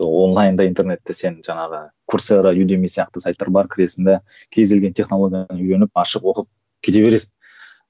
онлайн да интернетте сен жаңағы сайттар бар кіресің де кез келген технологияны үйреніп ашып оқып кете бересің